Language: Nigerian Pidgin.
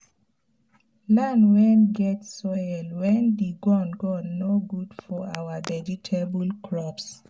land wen get soil wen d gum gum nor gud for our vegetable crops